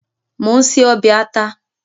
Mò ń se ọbẹ̀ àta.